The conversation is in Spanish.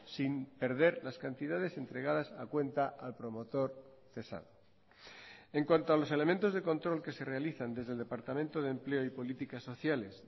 sin perder las cantidades entregadas a cuenta al promotor cesado en cuanto a los elementos de control que se realizan desde el departamento de empleo y políticas sociales